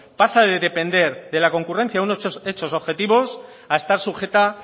pasa de depender de la concurrencia de unos hechos objetivos a estar sujeta